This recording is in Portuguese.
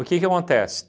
O que que acontece?